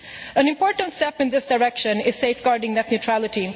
An important step in this direction is safeguarding net neutrality.